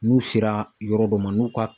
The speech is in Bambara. N'u sera yɔrɔ dɔ ma n'u ka